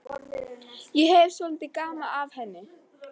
Ég hefi svolítið gaman af henni.